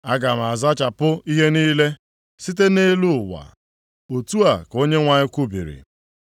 “Aga m azachapụ ihe niile site nʼelu ụwa,” Otu a ka Onyenwe anyị kwubiri.